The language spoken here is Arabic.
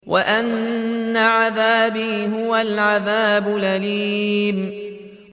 وَأَنَّ عَذَابِي هُوَ الْعَذَابُ الْأَلِيمُ